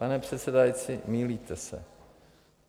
Pane předsedající, mýlíte se.